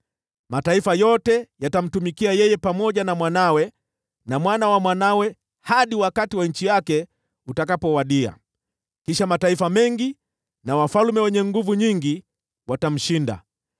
Mataifa yote yatamtumikia yeye, pamoja na mwanawe na mwana wa mwanawe, hadi wakati wa nchi yake utakapowadia, kisha mataifa mengi na wafalme wenye nguvu nyingi watamshinda.